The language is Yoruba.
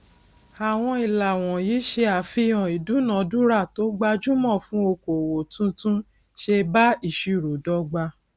àwọn ìlà wọnyí ṣe àfihàn ìdúnadúràá tó gbajúmọ fún okoòwò tuntun ṣe bá ìṣirò dọgba